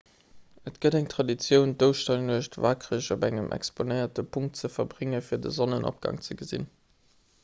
et gëtt eng traditioun d'ouschternuecht wakereg op engem exponéierte punkt ze verbréngen fir de sonnenopgang ze gesinn